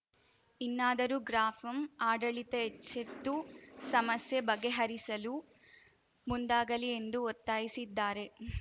ಇನ್ನಾದರೂ ಗ್ರಾಪಂ ಆಡಳಿತ ಎಚ್ಚೆತ್ತು ಸಮಸ್ಯೆ ಬಗೆಹರಿಸಲು ಮುಂದಾಗಲಿ ಎಂದು ಒತ್ತಾಯಿಸಿದ್ದಾರೆ